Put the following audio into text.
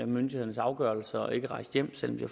myndighedernes afgørelse og ikke er rejst hjem selv om de